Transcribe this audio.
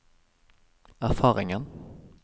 erfaringen